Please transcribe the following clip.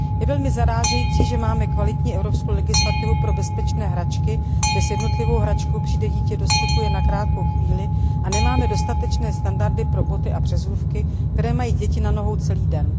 Je velmi zarážející, že máme kvalitní evropskou legislativu pro bezpečné hračky, kde s jednotlivou hračkou přijde dítě do styku jen na krátkou chvíli, a nemáme dostatečné standardy pro boty a přezůvky, které mají děti na nohou celý den.